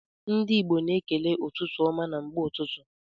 Ndi igbo na ekele ụtụtụ ọma na mgbe ụtụtụ.